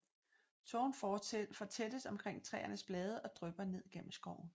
Tågen fortættes omkring træernes blade og drypper ned gennem skoven